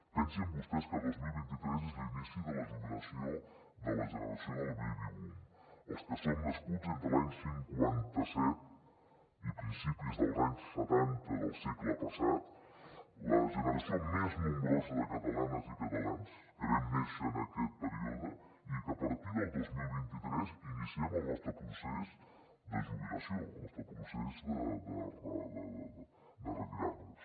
pensin vostès que el dos mil vint tres és l’inici de la jubilació de la generació del baby boom els que som nascuts entre l’any cinquanta set i principis dels anys setanta del segle passat la generació més nombrosa de catalanes i catalans que vam néixer en aquest període i que a partir del dos mil vint tres iniciem el nostre procés de jubilació el nostre procés de retirar nos